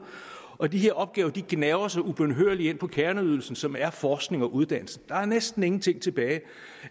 og de her opgaver gnaver sig ubønhørligt ind på kerneydelsen som er forskning og uddannelse der er næsten ingenting tilbage